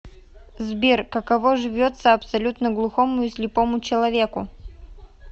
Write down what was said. сбер каково живется абсолютно глухому и слепому человеку